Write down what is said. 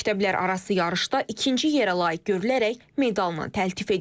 Məktəblərarası yarışda ikinci yerə layiq görülərək medalın təltif edilib.